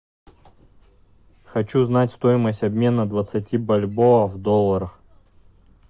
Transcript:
хочу знать стоимость обмена двадцати бальбоа в долларах